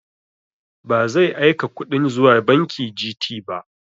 Ba zai aika kuɗin zuwa banki Gt ba